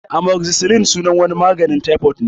Amozicilin sunan wani maganin taifot ne